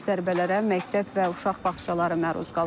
Zərbələrə məktəb və uşaq bağçaları məruz qalıb.